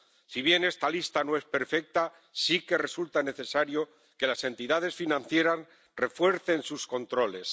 Si bien esta lista no es perfecta, sí que resulta necesario que las entidades financieras refuercen sus controles.